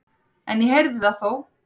En ég heyrði það þó.